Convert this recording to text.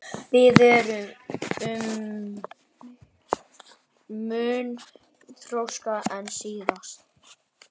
Við erum mun þroskaðri en síðast